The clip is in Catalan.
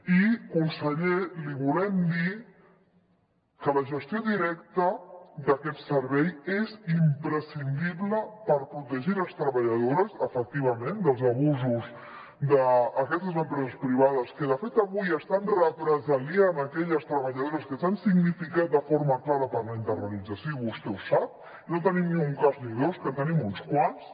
i conseller li volem dir que la gestió directa d’aquest servei és imprescindible per protegir les treballadores efectivament dels abusos d’aquestes empreses privades que de fet avui estan represaliant aquelles treballadores que s’han significat de forma clara per la internalització i vostè ho sap i no en tenim ni un cas ni dos que en tenim uns quants